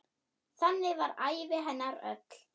Þannig var ævi hennar öll.